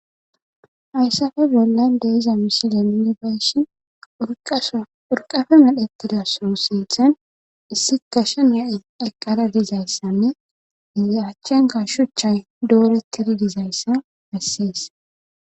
Hayssafe bolla de iza misilenini bayshi purqafe medhettida so sinthen issi kashen ya7i eqqara dizayssanne izi achchen kashshuchay doorettidi dizayssa hessees.